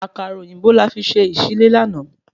Àkàrà òyìnbó la fi ṣe ìsí lé láàná